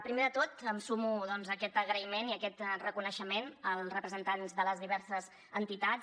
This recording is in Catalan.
primer de tot em sumo doncs a aquest agraïment i a aquest reconeixement als representants de les diverses entitats